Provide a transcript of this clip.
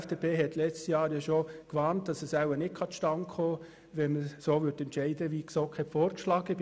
Die FDP hatte letztes Jahr schon gewarnt, dass es wahrscheinlich nicht zustande käme, wenn man so entscheiden würde, wie die GSoK vorgeschlagen hatte.